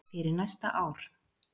fyrir næsta ár.